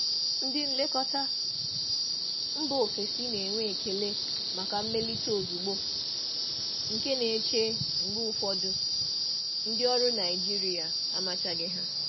Ndị nlekọta mba ofesi na-enwe ekele maka mmelite ozugbo, nke na-eche mgbe ụfọdụ ndị ọrụ Naijiria amachaghị ha.